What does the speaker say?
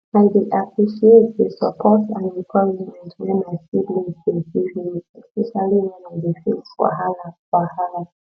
i dey appreciate dey support and encouragement wey my siblings dey give me especially when i dey face wahala wahala